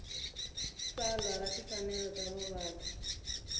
tsalwa ra timfanelo ta vavabyi